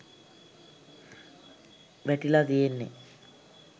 වැටිලා තියෙන්නේ